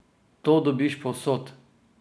To dobiš povsod!